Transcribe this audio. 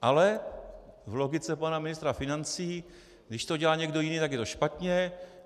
Ale v logice pana ministra financí, když to dělá někdo jiný, tak je to špatně.